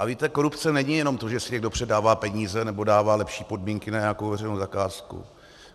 A víte, korupce není jenom to, že si někdo předává peníze nebo dává lepší podmínky na nějakou veřejnou zakázku.